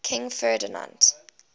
king ferdinand